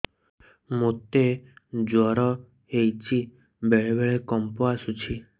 ମୋତେ ଜ୍ୱର ହେଇଚି ବେଳେ ବେଳେ କମ୍ପ ଆସୁଛି